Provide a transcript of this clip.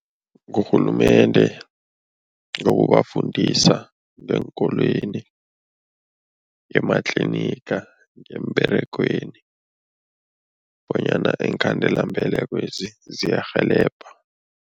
Ngurhulumende, ngokubafundisa ngeenkolweni, ematliniga, emberegweni bonyana iinkhandelambelekwezi ziyarhelebha.